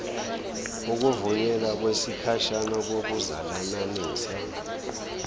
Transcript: ukuvunyelwa kwesikhashana kokuzalananisa